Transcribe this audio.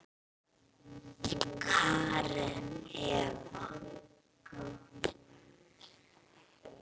Karen Eva.